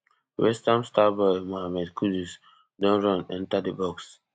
westham starboy mohammed kudus don run enta di box